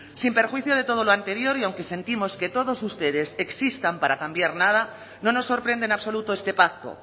sin perjuicio de todo lo anterior y aunque sentimos que todos ustedes existan para cambiar nada no nos sorprende en absoluto este pacto